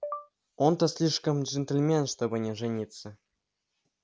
он-то слишком джентльмен чтобы не жениться